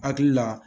Hakili la